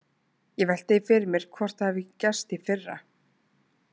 Ég velti því fyrir mér hvort það hafi gerst í fyrra.